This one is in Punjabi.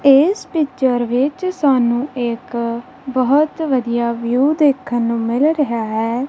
ਇਸ ਪਿਚਰ ਵਿੱਚ ਸਾਨੂੰ ਇੱਕ ਬਹੁਤ ਵਧੀਆ ਵਿਊ ਦੇਖਣ ਨੂੰ ਮਿਲ ਰਿਹਾ ਹੈ।